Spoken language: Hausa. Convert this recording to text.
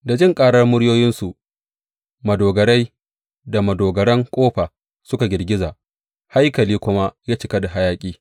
Da jin ƙarar muryoyinsu madogarai da madogaran ƙofa suka girgiza, haikali kuma ya cika da hayaƙi.